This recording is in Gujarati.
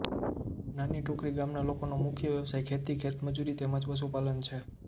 નાની ટોકરી ગામના લોકોનો મુખ્ય વ્યવસાય ખેતી ખેતમજૂરી તેમ જ પશુપાલન છે